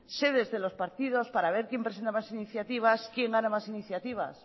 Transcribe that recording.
sedes de los partidos para ver quién presenta más iniciativas quién gana más iniciativas